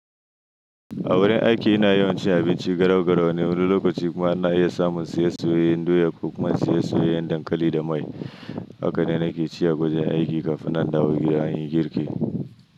A wurin aiki ina yawan cin abinci garau-garau na wani lokaci kuma ana iya samun siye sayoyin doya ko kuma siye sayoyin dankali da mai. Haka ne nake ci a kwanan aiki kafin nan da gida a yi girki.